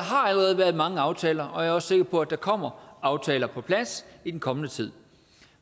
har allerede været mange aftaler og jeg er også sikker på at der kommer aftaler på plads i den kommende tid